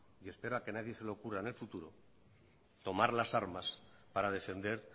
y espero que a nadie se le ocurra en el futuro tomar las armas para defender